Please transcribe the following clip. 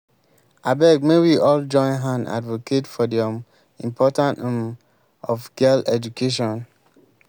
abeg make we all join hand advocate for the um importance um of girl education